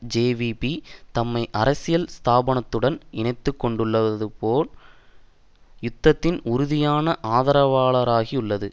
JVP தம்மை அரசியல் ஸ்தாபனத்துடன் இணைத்து கொண்டுள்ளதோடு யுத்தத்தின் உறுதியான ஆதரவாளராகியுள்ளது